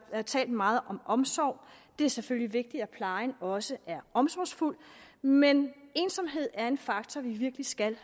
har talt meget om omsorg det er selvfølgelig vigtigt at plejen også er omsorgsfuld men ensomhed er en faktor vi virkelig skal